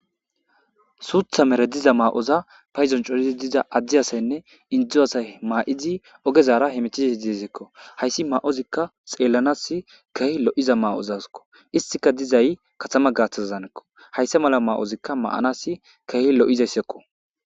suutha mere diza maa7oza payzon corizi diza addi asaynne indzdzu asay maa7izi ogezara hemitiza dizekko hayssi ma7ozikka xeellanas keh lo7iza ma7ozaeko istika dizay katama gaaththazzanekko hayssa mala ma7ozikka ma7anas kehi lo7izayssekko